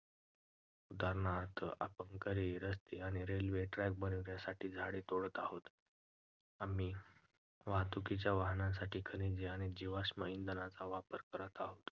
उदाहरणार्थ, आपण घरे, रस्ते आणि railway track बनवण्यासाठी झाडे तोडत आहोत. आम्ही वाहतुकीच्या वाहनांसाठी खनिजे आणि जीवाश्म इंधनांच्या खाणी वापरत आहोत.